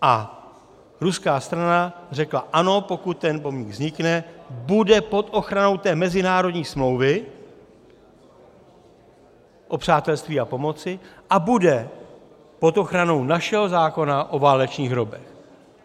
A ruská strana řekla ano, pokud ten pomník vznikne, bude pod ochranou té mezinárodní smlouvy o přátelství a pomoci a bude pod ochranou našeho zákona o válečných hrobech.